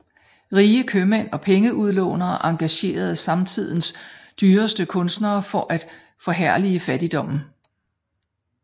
Rige købmænd og pengeudlånere engagerede samtidens dyreste kunstnere for at forherlige fattigdommen